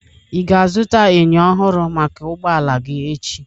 Ị ga azụta enyo ọhụrụ maka ụgbọala gị echi?